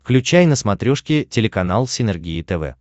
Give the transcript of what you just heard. включай на смотрешке телеканал синергия тв